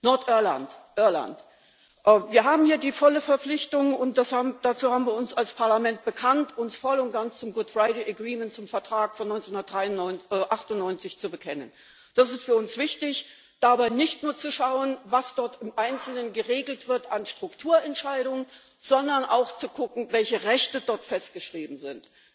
Nordirland, Irland Wir haben hier die volle Verpflichtung, und dazu haben wir uns als Parlament bekannt, uns voll und ganz zum Good Friday Agreement zum Vertrag von 1998, zu bekennen. Es ist für uns wichtig, dabei nicht nur zu schauen, was dort im Einzelnen geregelt wird an Strukturentscheidungen, sondern auch zu gucken, welche Rechte dort festgeschrieben sind.